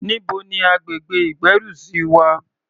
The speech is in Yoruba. Níbo ni agbègbè ìgbérùsí wà?